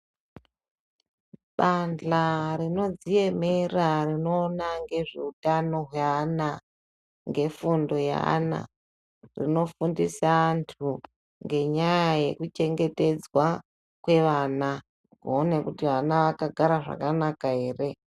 Bandhla rinodziemerera rinoona ngezveutano hweana adodori ,ngefundo yeana rinofundisa antu ngenyaya yekuchengetedzwa kweana kuona kuti ana akagara zvakanaka ere.